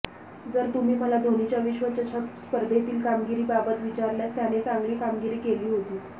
जर तुम्ही मला धोनीच्या विश्वचषक स्पर्धेतील कामगिरीबाबत विचारल्यास त्याने चांगली कामगिरी केली होती